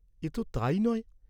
এতো তাই নয়?